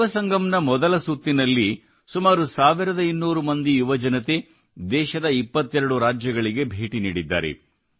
ಯುವಸಂಗಮ್ ನ ಮೊದಲ ಸುತ್ತಿನಲ್ಲಿ ಸುಮಾರು 1200 ಮಂದಿ ಯುವಜನತೆ ದೇಶದ 22 ರಾಜ್ಯಗಳಿಗೆ ಭೇಟಿ ನೀಡಿದ್ದಾರೆ